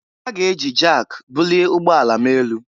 Ha ga-eji jak bulie ụgbọ ala m elu